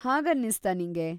ಹಾಗನ್ನಿಸ್ತಾ ನಿಂಗೆ?